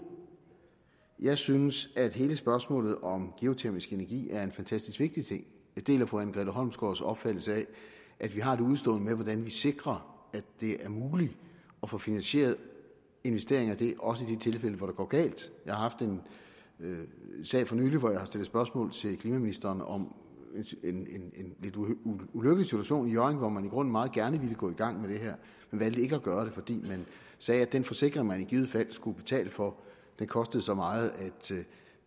jeg synes at hele spørgsmålet om geotermisk energi er en fantastisk vigtig ting jeg deler fru anne grete holmsgaards opfattelse af at vi har et udestående med hvordan vi sikrer at det er muligt at få finansieret investeringer i det også i de tilfælde hvor det går galt jeg har haft en sag for nylig hvor jeg har stillet spørgsmål til klimaministeren om en lidt ulykkelig situation i hjørring hvor man i grunden meget gerne ville gå i gang med det her men valgte ikke at gøre det fordi man sagde at den forsikring man i givet fald skulle betale for kostede så meget at